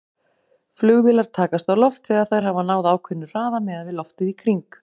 Flugvélar takast á loft þegar þær hafa náð ákveðnum hraða miðað við loftið í kring.